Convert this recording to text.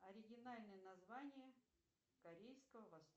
оригинальное название корейского